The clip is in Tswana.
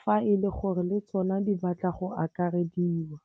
fa e le gore le tsona di batla go akarediwa.